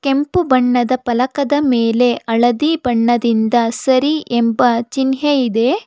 ಕೆಂಪು ಬಣ್ಣದ ಫಲಕದ ಮೇಲೆ ಹಳದಿ ಬಣ್ಣದಿಂದ ಸರಿ ಎಂಬ ಚಿನ್ಹೆ ಇದೆ.